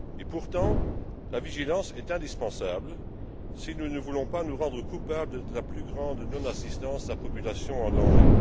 Pourtant, la vigilance est de mise si nous ne voulons pas nous rendre coupables de la plus grande non assistance à populations en danger.